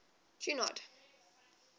junod